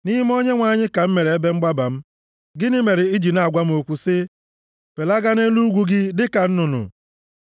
Nʼime Onyenwe anyị ka m mere ebe mgbaba m. Gịnị mere i ji na-agwa m okwu sị, “Felagaa nʼelu ugwu gị dịka nnụnụ.”